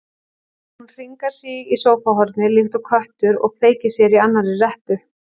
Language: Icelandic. Hún hringar sig í sófahornið líkt og köttur og kveikir sér í annarri rettu.